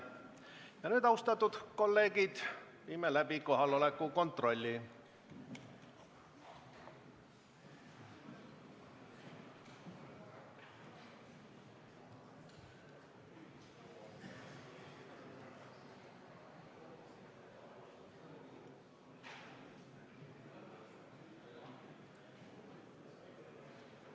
Ja nüüd, austatud kolleegid, viime läbi kohaloleku kontrolli.